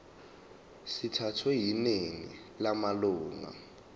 sithathwe yiningi lamalunga